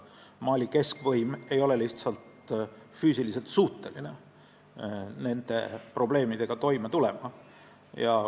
Mali keskvõim ei ole lihtsalt füüsiliselt suuteline nende probleemidega toime tulema.